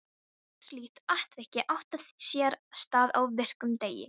Eitt slíkt atvik átti sér stað á virkum degi.